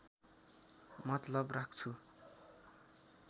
मतलब राख्छु